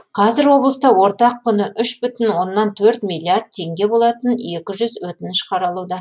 қазір облыста ортақ құны үш бүтін оннан төрт миллиард теңге болатын екі жүз өтініш қаралуда